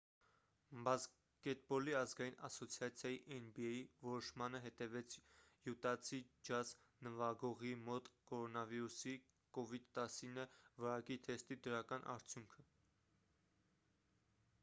բասկետբոլի ազգային ասոցիացիայի nba որոշմանը հետևեց յուտացի ջազ նվագողի մոտ կորոնավիրուսի covid-19 վարակի թեստի դրական արդյունքը: